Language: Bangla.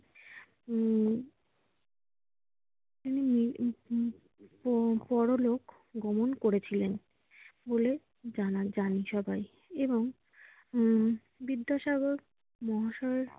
উম উনি উম উম পরলোকগমন করেছিলেন বলে জানা জানে সবাই এবং উম বিদ্যাসাগর মহাশয়